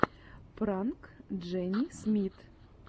пранк джени смит